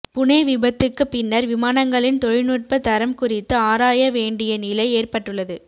புனே விபத்துக்குப் பின்னர் விமானங்களின் தொழில்நுட்ப தரம் குறித்து ஆராய வேண்டிய நிலை ஏற்பட்டுள்ளது